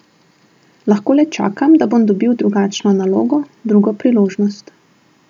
Lahko le čakam, če bom dobil drugačno nalogo, drugo priložnost.